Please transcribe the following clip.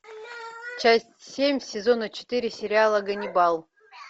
часть семь сезона четыре сериала ганнибал